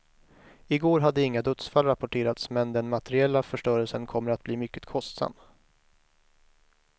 I går hade inga dödsfall rapporterats, men den materiella förstörelsen kommer att bli mycket kostsam.